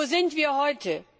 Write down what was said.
Aber wo sind wir heute?